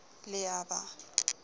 le mr t a ba